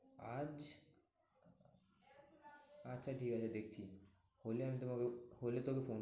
আজ আচ্ছা ঠিক আছে দেখছি। হলে আমি তোমাকে হলে তোকে ফোন